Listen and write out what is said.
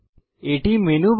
এটি মেনু বার